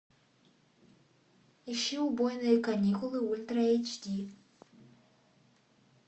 ищи убойные каникулы ультра эйч ди